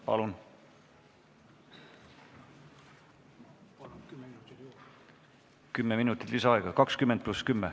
Palun!